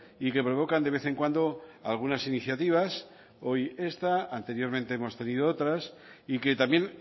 y que provocan de vez en cuando algunas iniciativas hoy esta anteriormente hemos tenido otras y que también